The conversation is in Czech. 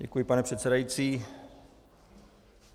Děkuji, pane předsedající.